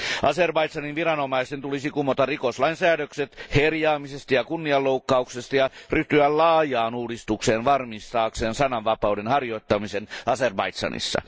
Azerbaidžanin viranomaisten tulisi kumota rikoslain säädökset herjaamisesta ja kunnianloukkauksesta ja ryhtyä laajaan uudistukseen varmistaakseen sananvapauden harjoittamisen Azerbaidžanissa.